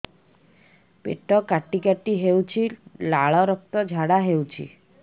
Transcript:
ପେଟ କାଟି କାଟି ହେଉଛି ଲାଳ ରକ୍ତ ଝାଡା ହେଉଛି